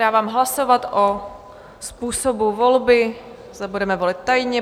Dávám hlasovat o způsobu volby, zda budeme volit tajně.